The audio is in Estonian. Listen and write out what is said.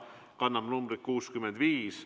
See kannab numbrit 65.